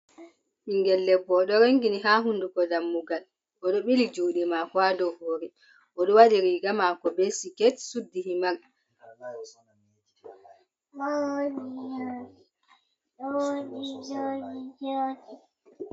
Ɓingel debbo oɗo rongini ha hunduko dammugal oɗo ɓili juɗe mako ha ɗow hore oɗo waɗi riga mako be siket suddi himar.